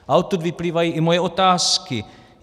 A odtud vyplývají i moje otázky.